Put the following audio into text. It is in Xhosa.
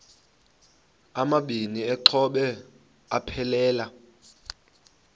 amabini exhobe aphelela